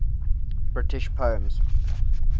british poems